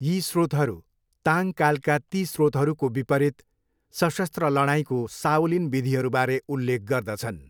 यी स्रोतहरू ताङ कालका ती स्रोतहरूको विपरीत सशस्त्र लडाइँको साओलिन विधिहरूबारे उल्लेख गर्दछन्।